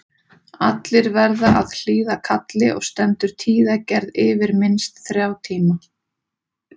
Allir verða að hlýða kalli og stendur tíðagerð yfir minnst þrjá tíma.